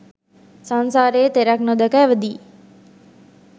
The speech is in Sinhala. සංසාරයේ තෙරක් නොදැක ඇවිදියි.